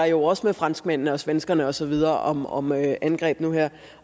jo også med franskmændene og svenskerne og så videre om om angreb nu her